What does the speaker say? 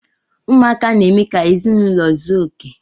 Ụmụaka n- eme ka ezinụlọ zuo okè.